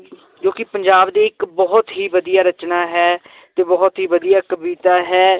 ਜੋ ਕਿ ਪੰਜਾਬ ਦੇ ਇੱਕ ਬਹੁਤ ਹੀ ਵਧੀਆ ਰਚਨਾ ਹੈ ਤੇ ਬਹੁਤ ਹੀ ਵਧੀਆ ਕਵਿਤਾ ਹੈ